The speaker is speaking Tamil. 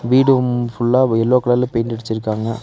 வீடும் ஃபுல்லா எல்லோ கலர்ல பெயிண்ட் அடிச்சிருக்காங்க.